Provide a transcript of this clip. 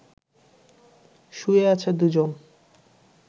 শুয়ে আছে দুজন